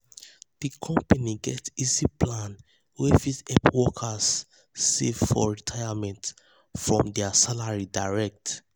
di company get easy plan wey fit help workers help workers save for retirement from their salary direct.